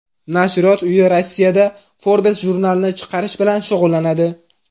Nashriyot uyi Rossiyada Forbes jurnalini chiqarish bilan shug‘ullanadi.